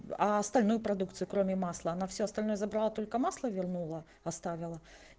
а остальную продукцию кроме масла она все остальное забрала только масло вернула оставила